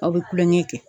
Aw bɛ kulonkɛ kɛ